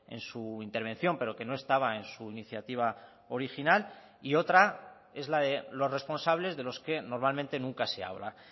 en su intervención pero que no estaba en su iniciativa original y otra es la de los responsables de los que normalmente nunca se habla